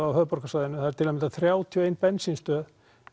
á höfuðborgarsvæðinu það eru til að mynda þrjátíu og ein bensínstöð